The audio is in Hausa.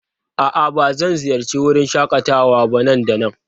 A'a, ba zan ziyarci wurin shakatawa ba nan da nan?